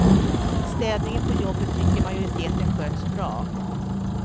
Städningen på jobbet tycker majoriteten sköts bra.